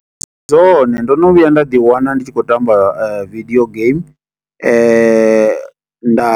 Ndi zwone. Ndo no vhuya nda ḓi wana ndi tshi khou tamba video game. Nda